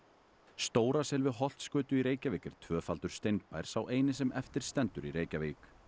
stórasel við Holtsgötu í Reykjavík er tvöfaldur sá eini sem eftir stendur í Reykjavík